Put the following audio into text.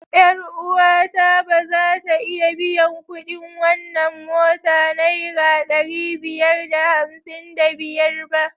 Yar uwata ba za ta iya biyan kuɗin wannan mota naira ɗari biyar da hamsin da biyar ba.